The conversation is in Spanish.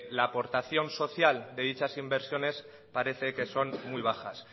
la aportación social de dichas inversiones parece que son muy bajas